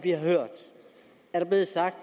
er blevet sagt